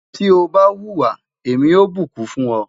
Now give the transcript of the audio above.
ti o ba huwa, Emi yoo bukun fun ọ